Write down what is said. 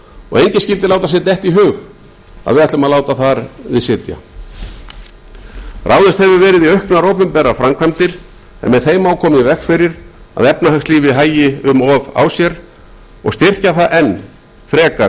og enginn skyldi láta sér detta í hug að við ætlum að láta þar við sitja ráðist hefur verið í auknar opinberar framkvæmdir en með þeim má koma í veg fyrir að efnahagslífið hægi um of á sér og styrkja það enn frekar